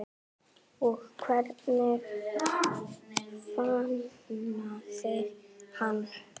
Og hvernig fagnaði hann?